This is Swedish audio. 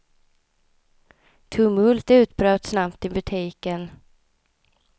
Tumult utbröt snabbt i butiken.